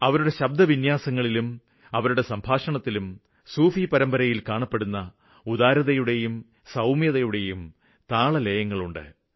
അവരുടെ ശബ്ദവിന്യാസങ്ങളും അവരുടെ സംഭാഷണശൈലിയും അതായത് സൂഫി പരമ്പരയില് കാണപ്പെടുന്ന ഉദാരതയും സൌമ്യതയും അതില് സംഗീതത്തിന്റെ താളലയങ്ങളുണ്ട്